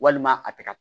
Walima a tɛ ka